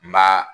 N b'a